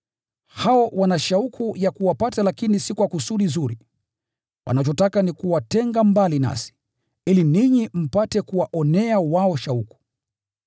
Hao wana shauku ya kuwapata lakini si kwa kusudi zuri. Wanachotaka ni kuwatenga mbali nasi, ili ninyi mpate kuwaonea wao shauku.